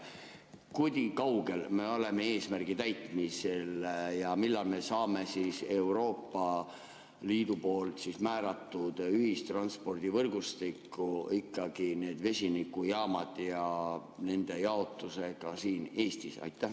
Kui kaugel me oleme eesmärgi täitmisest ja millal me saame Euroopa Liidu määratud ühistranspordivõrgustikku ikkagi need vesinikujaamad ja nende jaotuse ka siin Eestis?